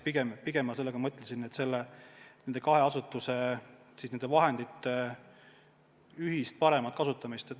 Pigem ma mõtlesin nende kahe asutuse vahendite ühist paremat kasutamist.